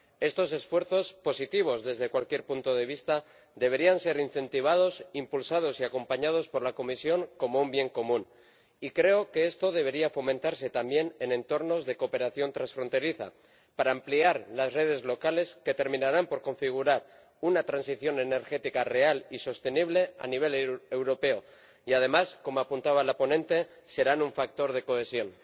Estos esfuerzos, positivos desde cualquier punto de vista, deberían ser incentivados, impulsados y acompañados por la Comisión como un bien común, y creo que esto debería fomentarse también en entornos de cooperación transfronteriza para ampliar las redes locales que terminarán por configurar una transición energética real y sostenible a nivel europeo y, además, como apuntaba la ponente, serán un factor de cohesión.